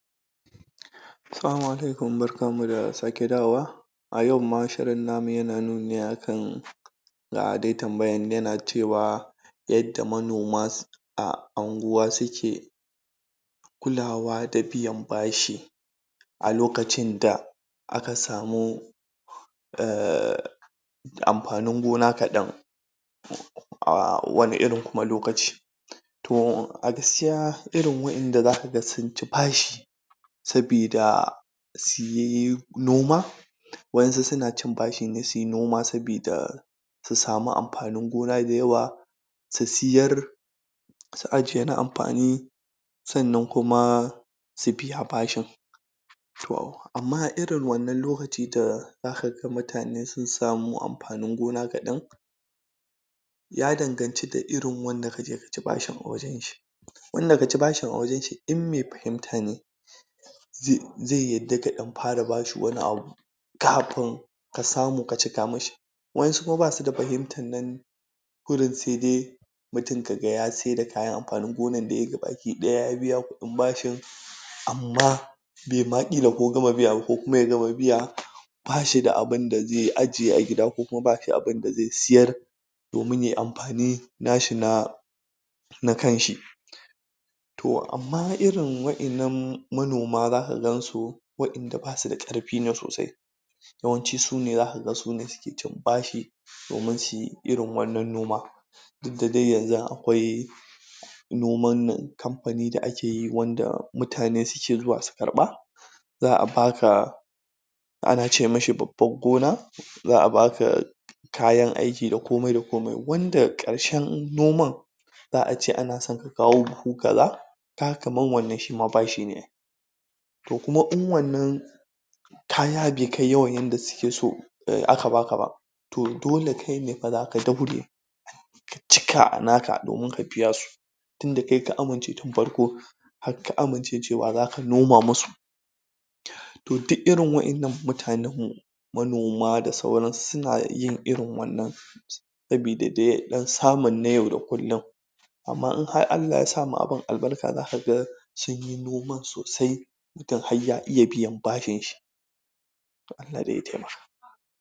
Salama alaikum barkanmu da sake dawowa a yau ma shirin namu yana nuni ne akan ga de tambayan yana cewa yadda manoma um a anguwa suke kulawa da biyan bashi a lokacin da aka samu um amfanin gona kaɗan a wane irin kuma lokaci to a gaskiya irin waƴanda zaka ga sun ci bashi sabida su yi noma waƴansu suna cin bashin ne su yi noma sabida su samu amfanin gona dayawa su siyar su ajiye na amfani sannan kuma su biya bashin to amma irin wannan lokaci da za ka ga mutane sun samu amfanin gona kaɗan ya danganci da irin wanda ka je ka ci bashin a wajen shi wanda ka ci bashin a wajen shi in me fahimta ne ze yadda ka ɗan fara ba shi wani abu kafin ka samu ka cika mi shi waƴansu kuma ba su da fahimtar nan kurun se de mutum ka ga ya seda kayan amfanin gonan da yayi gabakiɗaya ya biya kuɗin bashin amma be ma ƙila ko gama biya ba ko kuma ya gama biya ba shi da abin da ze ajiye a gida ko kuma ba shi abin da ze siyar domin ya yi amfani na shi na na kanshi to amma irin waƴannan manoma zaka gan su waɗanda ba su da ƙarfi ne sosai yawanci zaka ga su ne suke cin bashin domin su yi irin wannan noma duk da de yanzun akwai noman nan kamfani da ake yi wanda mutane suke zuwa su karɓa za a ba ka ana ce mi shi babbar gona za a ba ka kayan aiki da komai da komain wanda ƙarshen noman za ace ana son ka kawo buhu kaza ka ga kaman wannan shi ma bashi ne to kuma in wannan kaya bai kai yawan yanda suke so aka ba ka ba to dole kai ne fa zaka daure ka cika a naka domin ka biya su tun da kai ka amince tun farko hak ka amince cewa zaka noma musu to duk irin waƴannan mutanenmu manoma da sauransu su na yin irin wannan sabida de ɗan samun na yau da kullum amma in har Allah ya sa ma abin albarka zaka ga sun yi noman sosai idan har ya iya biyan bashin shi